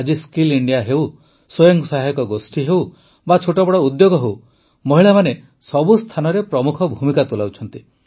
ଆଜି skill India ହେଉ ସ୍ୱୟଂ ସହାୟକ ଗୋଷ୍ଠୀ ହେଉ ବା ଛୋଟ ବଡ଼ ଉଦ୍ୟୋଗ ହେଉ ମହିଳାମାନେ ସବୁ ସ୍ଥାନରେ ପ୍ରମୁଖ ଭୂମିକା ତୁଲାଉଛନ୍ତି